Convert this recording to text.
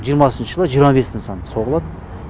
жиырмасыншы жылы жиырма бес нысан соғылады